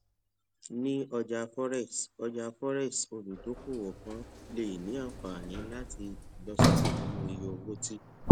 ni ọja forex ọja forex oludokoowo kan le ni anfani lati ilosoke ninu iye owo ti